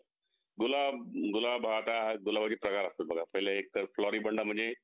गुलाब गुलाब हा काय आहे गुलाबाच्या कळ्या असतात बघा पहिला एक तर फ्लोरीबन्ना म्हणजे